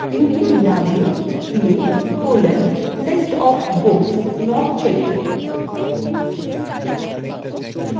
viewএর name দিন view: list of books not checked in